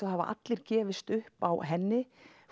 það hafa allir gefist upp á henni